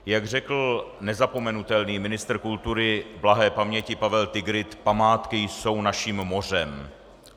Jak řekl nezapomenutelný ministr kultury blahé paměti Pavel Tigrid: "Památky jsou naším mořem."